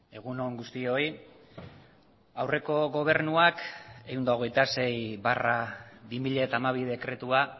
egun on guztioi aurreko gobernuak ehun eta hogeita sei barra bi mila hamabi dekretua